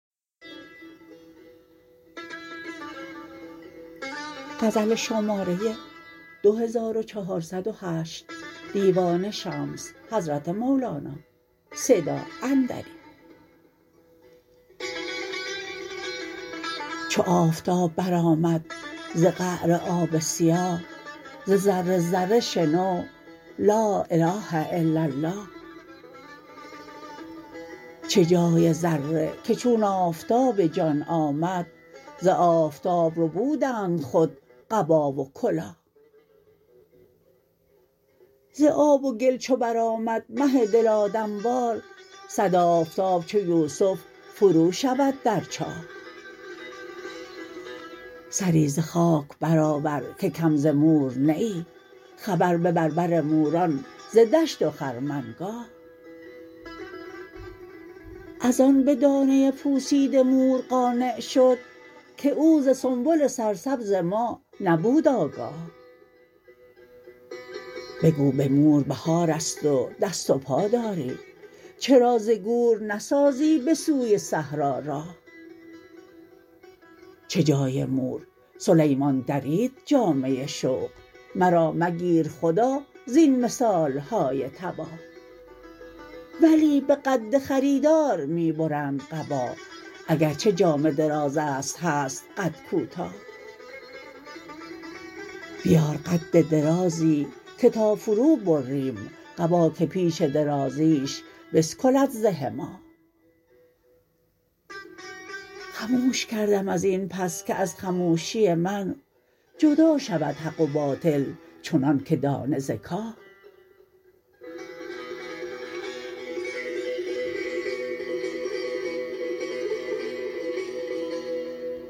چو آفتاب برآمد ز قعر آب سیاه ز ذره ذره شنو لا اله الا الله چه جای ذره که چون آفتاب جان آمد ز آفتاب ربودند خود قبا و کلاه ز آب و گل چو برآمد مه دل آدم وار صد آفتاب چو یوسف فروشود در چاه سری ز خاک برآور که کم ز مور نه ای خبر ببر بر موران ز دشت و خرمنگاه از آن به دانه پوسیده مور قانع شد که او ز سنبل سرسبز ما نبود آگاه بگو به مور بهار است و دست و پا داری چرا ز گور نسازی به سوی صحرا راه چه جای مور سلیمان درید جامه شوق مرا مگیر خدا زین مثال های تباه ولی به قد خریدار می برند قبا اگر چه جامه دراز است هست قد کوتاه بیار قد درازی که تا فروبریم قبا که پیش درازیش بسکلد زه ماه خموش کردم از این پس که از خموشی من جدا شود حق و باطل چنانک دانه ز کاه